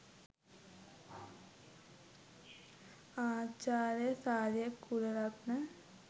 ආචාර්ය සාලිය කුලරත්න